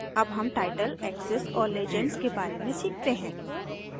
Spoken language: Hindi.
अब हम टाइटल एक्सिस और लेजेंड्स के बारे में सीखते हैं